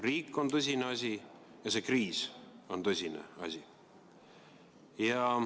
Riik on tõsine asi ja see kriis on tõsine asi.